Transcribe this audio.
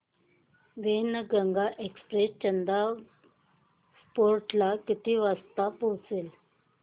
Wainganga express Chanda fort ला किती वाजता पोहचते